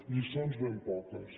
lliçons ben poques